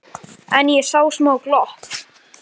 En ég sá smá glott.